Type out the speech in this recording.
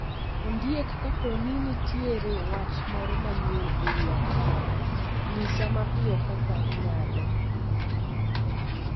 Ondiek kapo ni nitiere wach moro manyien e wi ataro, nyisa mapiyo kaka inyalo